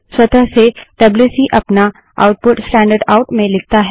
स्वतः से डब्ल्यूसी अपना आउटपुट स्टैंडर्ड आउट में लिखता है